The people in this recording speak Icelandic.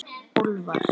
Úlfar